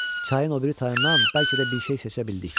Çayın o biri tayından bəlkə də bir şey seçə bildik.